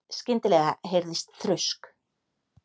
Skyndilega heyrðist þrusk.